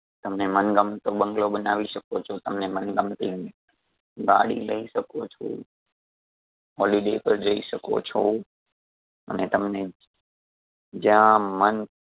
તમને મન ગમતો બંગલો બનાવી સકો છો. તમને મનગમતી ગાડી લઈ શકો છો holiday પર જઈ શકો છો અને તમને જ્યાં મન